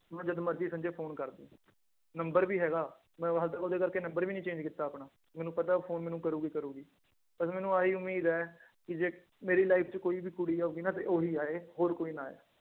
ਮੈਨੂੰ ਜਦੋਂ ਮਰਜ਼ੀ ਸੰਜੇ ਫ਼ੋਨ ਕਰ ਦੇਈਂ, ਨੰਬਰ ਵੀ ਹੈਗਾ ਮੈਂ ਉਹਦੇ ਕਰਕੇ ਨੰਬਰ ਵੀ ਨੀ ਚੇਂਜ ਕੀਤਾ ਆਪਣਾ, ਮੈਨੂੰ ਪਤਾ ਉਹ ਫ਼ੋਨ ਮੈਨੂੰ ਕਰੇਗੀ ਕਰੇਗੀ, ਬਸ ਮੈਨੂੰ ਆਹੀ ਉਮੀਦ ਹੈ ਕਿ ਜੇ ਮੇਰੀ life ਚ ਕੋਈ ਵੀ ਕੁੜੀ ਆਊਗੀ ਨਾ ਤੇ ਉਹੀ ਆਏ ਹੋਰ ਕੋਈ ਨਾ ਆਏ।